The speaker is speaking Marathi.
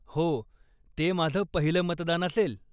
हो, ते माझं पहिलं मतदान असेल.